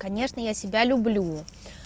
конечно я себя люблю